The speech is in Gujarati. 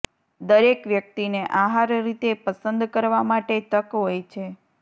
દરેક વ્યક્તિને આહાર રીતે પસંદ કરવા માટે તક હોય છે